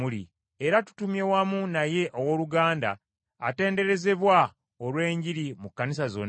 Era tutumye wamu naye owooluganda atenderezebwa olw’enjiri mu kkanisa zonna,